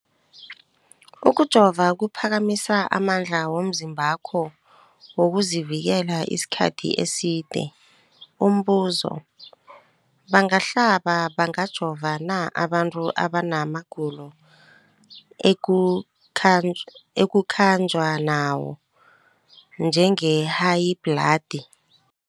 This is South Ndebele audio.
Ukujova kuphakamisa amandla womzimbakho wokuzivikela isikhathi eside. Umbuzo, bangahlaba, bangajova na abantu abana magulo ekukhanjwa nawo, njengehayibhladi?